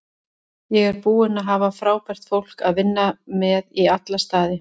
Ég er búinn að hafa frábært fólk að vinna með í alla staði.